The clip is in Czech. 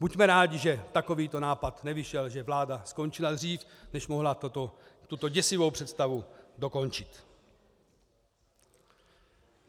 Buďme rádi, že takovýto nápad nevyšel, že vláda skončila dřív, než mohla tuto děsivou představu dokončit.